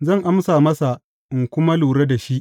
Zan amsa masa in kuma lura da shi.